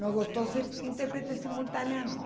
Não gostou ser intérprete simultânea, não.